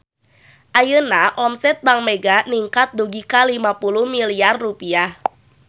Ayeuna omset Bank Mega ningkat dugi ka 50 miliar rupiah